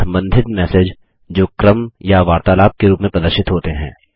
संबंधित मैसेज जो क्रम या वार्तालाप के रूप में प्रदर्शित होते हैं